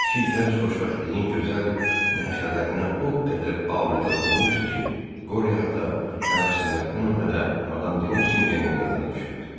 İki gənc xoşbəxtliyin gözəl nəşələrinə o qədər aludə olmuşdu ki, Qoriya ata nə Rastinyakın nə də Madam De Nusingenin yadına düşürdü.